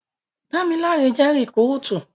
Dámiláre jẹ́ rikúrútú